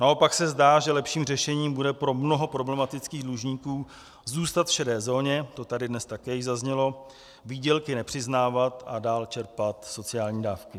Naopak se zdá, že lepším řešením bude pro mnoho problematických dlužníků zůstat v šedé zóně, to tady dnes také již zaznělo, výdělky nepřiznávat a dál čerpat sociální dávky.